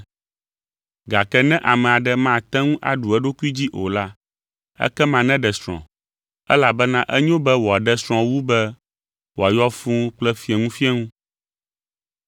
Gake ne ame aɖe mate ŋu aɖu eɖokui dzi o la, ekema neɖe srɔ̃ elabena enyo be wòaɖe srɔ̃ wu be wòayɔ fũu kple fieŋufieŋu.